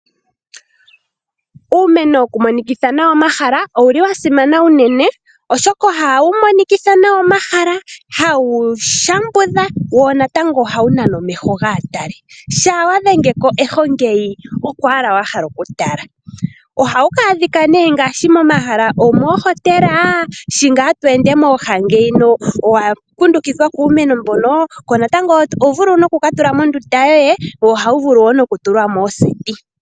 Uumeno woku monikitha nawa omahala owuli wa simana unene, oshoka ohawu monikitha nawa omahala, hawu shambudha wo natango ohawu nana omeho gaa tali shaa wa dhenge ko eho ngeyi oko ashike wa hala wa tala. Ohawu adhika ne mo mohala ngaashi omohotela shi ngaa tweende mooha ngeyi owa kundukidhwa kuumeno, wo oto vulu ku ka tula nande omo ndunda yoye, ohawu tulwa wo moseti.